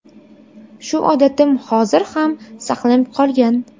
Shu odatim hozir ham saqlanib qolgan.